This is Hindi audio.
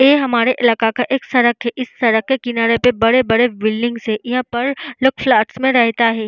ए हमारे इलाका का एक सड़क है। इस सड़क के किनारे पर बड़े-बड़े बिल्डिंग है। यहाँ पर लोग फ्लैट्स में रेहेता है।